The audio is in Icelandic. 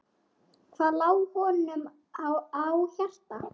Hvað lá honum á hjarta?